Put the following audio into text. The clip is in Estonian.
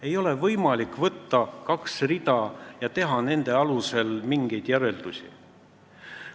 Ei ole võimalik võtta kahte rida ja nende alusel mingeid järeldusi teha.